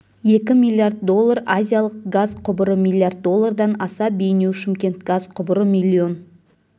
екі миллиард доллар азиялық газ құбыры миллиард доллардан аса бейнеу шымкент газ құбыры миллион